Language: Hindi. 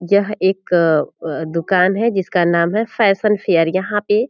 यह एक अ-अ दुकान है जिसका नाम है फैशन फेयर यहाँ पे --